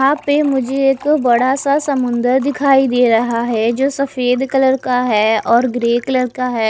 यहा पे मुझे एक बड़ा सा समुन्द्र दिखाई दे रहा है जो सफेद कलर का है और ग्रे कलर का है।